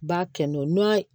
Ba kɛ nu